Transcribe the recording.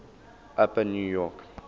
upper new york